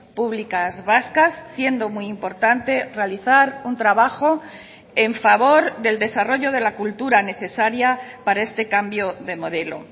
públicas vascas siendo muy importante realizar un trabajo en favor del desarrollo de la cultura necesaria para este cambio de modelo